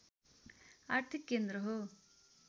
आर्थिक केन्द्र हो